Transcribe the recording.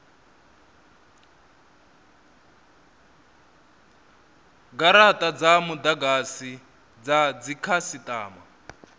garata dza mudagasi dza dzikhasitama